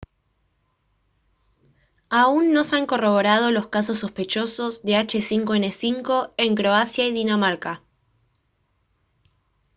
aún no se han corroborado los casos sospechosos de h5n5 en croacia y dinamarca